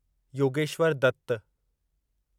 Yogeshwar Dutt